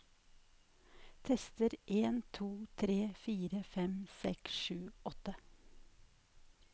Tester en to tre fire fem seks sju åtte